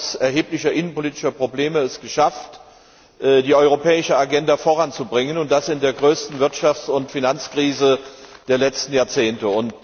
Sie hat es trotz erheblicher innenpolitischer Probleme geschafft, die europäische Agenda voranzubringen und das in der größten Wirtschafts und Finanzkrise der letzten Jahrzehnte!